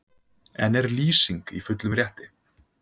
En er Lýsing í fullum rétti?